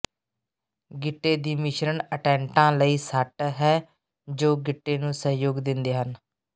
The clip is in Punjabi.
ਗਿੱਟੇ ਦੀ ਮਿਸ਼ਰਣ ਅਟੈਂਟਾਂ ਲਈ ਸੱਟ ਹੈ ਜੋ ਗਿੱਟੇ ਨੂੰ ਸਹਿਯੋਗ ਦਿੰਦੇ ਹਨ